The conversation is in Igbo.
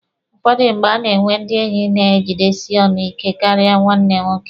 Ụfọdụ mgbe, a na-enwe ndị enyi na-ejidesi ọnụ ike karịa nwanne nwoke.